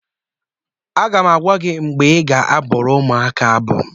Aga m agwa gị mgbe ị ga-abụrụ ụmụaka abụ